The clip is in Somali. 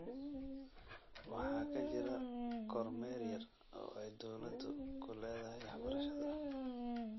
Waxaa ka jira kormeer yar oo ay dowladu ku leedahay waxbarashada.